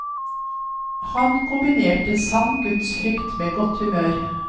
Han kombinerte sann gudsfrykt med godt humør.